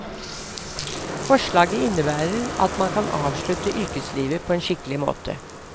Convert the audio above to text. Forslaget innebærer at man kan avslutte yrkeslivet på en skikkelig måte.